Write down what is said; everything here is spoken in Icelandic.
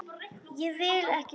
Ég vil ekki selja.